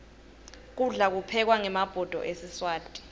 kudla kuphekwa ngemabhodo esiswati